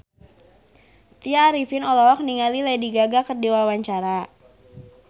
Tya Arifin olohok ningali Lady Gaga keur diwawancara